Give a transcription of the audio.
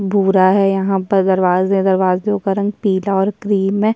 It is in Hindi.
भूरा है यहाँ पर दरवाजे दरवाजों का रंग पीला और क्रीम है।